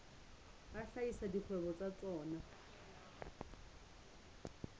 a hlahisa dikgwebo tsa tsona